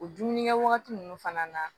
O dumunikɛ wagati ninnu fana na